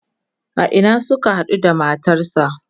a Ina Suka haɗu da matarsa?